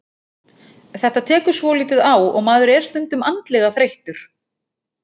Þetta tekur svolítið á og maður er stundum andlega þreyttur.